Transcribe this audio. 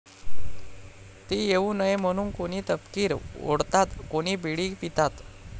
ती येऊ नये म्हणून कोणी तपकीर ओढतात, कोणी बिडी पितात.